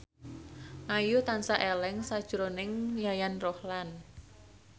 Ayu tansah eling sakjroning Yayan Ruhlan